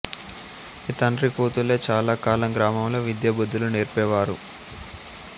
ఈ తండ్రి కూతుల్లే చాలా కాలం గ్రామంలో విద్యా బుద్ధులు నేర్పేవారు